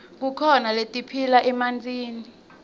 kukhona letiphila emantini